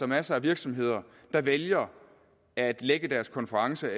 masser af virksomheder der vælger at lægge deres konference